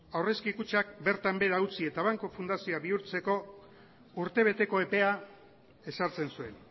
aurrezki kutxak bertan behera utzi eta banku fundazioak bihurtzeko urte beteko epea ezartzen zuen